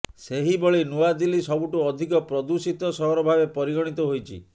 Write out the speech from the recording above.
ସେହିଭଳି ନୂଆଦିଲ୍ଲୀ ସବୁଠୁଁ ଅଧିକ ପ୍ରଦୂଷିତ ସହର ଭାବେ ପରିଗଣିତ ହୋଇଛି